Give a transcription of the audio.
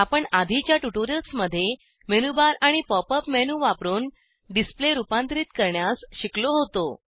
आपण आधीच्या ट्यूटोरियल्समध्ये मेनू बार आणि पॉप अप मेनू वापरून डिसप्ले रुपांतरीत करण्यास शिकलो होतो